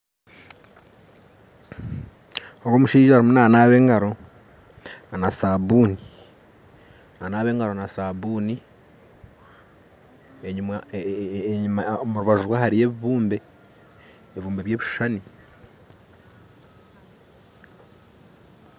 Ogu omushaija arimu nanaaba engaro na sabuuni omurubaju rwe hariyo ebibuumbe by'ebishuushani